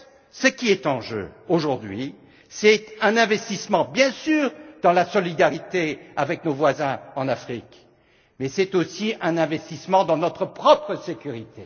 Ce qui est en jeu aujourd'hui, c'est bien sûr un investissement dans la solidarité avec nos voisins en Afrique, mais c'est aussi un investissement dans notre propre sécurité.